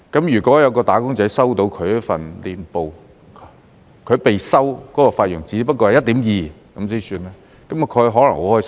如果有"打工仔"收到年報，他被收取的費用只不過是 1.2%， 他可能很開心。